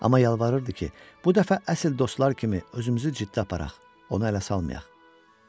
Amma yalvarırdı ki, bu dəfə əsl dostlar kimi özümüzü ciddi aparaq, onu ələ salmayaq.